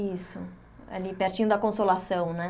Isso, ali pertinho da Consolação, né?